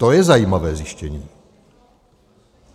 To je zajímavé zjištění.